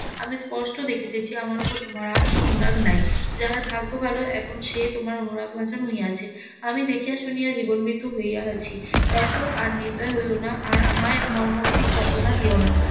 আমি স্পষ্ট দেখিতেছি আমার উপর তোমার আর সেই অনুরাগ নাই যাহার ভাগ্য ভালো এখন সে তোমার অনুরাগ ভাষণ হইয়াছে আমি দেখিয়া শুনিয়া জীবন মৃত্যু হইয়া আছি দেখো আর নির্দয় হইয়ো না আর আমায় মর্মান্তিক যন্ত্রনা দিয়ো না